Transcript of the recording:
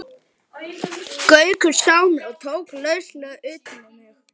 Gaukur sá mig og tók lauslega utan um mig.